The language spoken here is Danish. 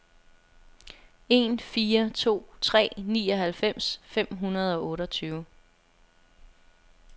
en fire to tre nioghalvfems fem hundrede og otteogtyve